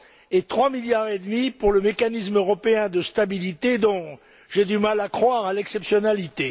et 3,5 milliards pour le mécanisme européen de stabilité dont j'ai du mal à croire à l'exceptionnalité.